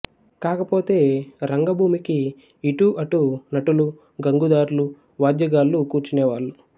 కాకపోతే రంగభూమికి ఇటు అటు నటులు గంగుదార్లూ వాద్యగాళ్ళూ కూర్చునేవారు